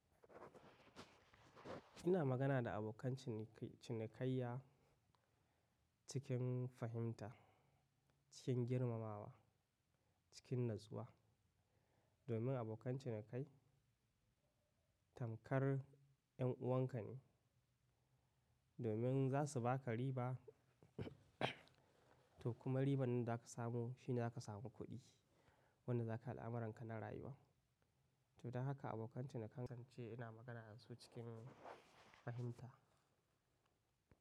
Ina magana da abokan cinikayya cikin fahimta, cikin girmamawa, cikin natsuwa. Domin abokan cinikayya tamkar yan uwanka ne. Domin za su baka riba, to kuma riban da za ka samu shine za ka samu kuɗi wanda za ka yi al’amuranka na rayuwa. To don haka abokan cinikayya, kasance ina magana da su cikin fahimta.